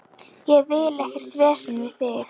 Ég vil ekkert vesen við þig.